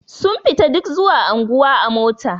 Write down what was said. Suna fita duk zuwa anguwa a mota.